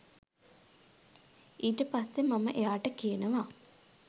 ඊට පස්සේ මම එයාට කියනවා